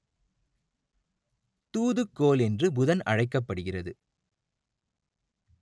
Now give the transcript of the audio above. தூதுக்கோள் என்று புதன் அழைக்கப்படுகிறது